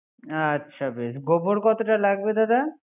আচ্ছা বেস। গোবর কতটা লাগবে দাদা